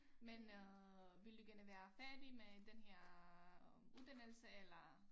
Men øh vil du gerne være færdig med den her uddannelse eller